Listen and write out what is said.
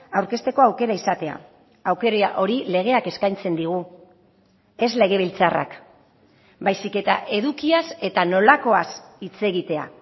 aurkezteko aukera izatea aukera hori legeak eskaintzen digu ez legebiltzarrak baizik eta edukiaz eta nolakoaz hitz egitea